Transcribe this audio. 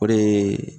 O de ye